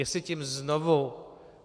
Jestli tím znovu...